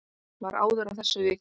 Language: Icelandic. Var áður að þessu vikið.